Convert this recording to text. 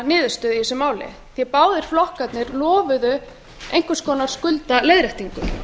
niðurstöðu í þessu máli báðir flokkarnir lofuðu einhvers konar skuldaleiðréttingu